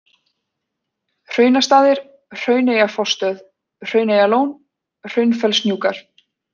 Hraunastaðir, Hrauneyjafossstöð, Hrauneyjalón, Hraunfellshnjúkar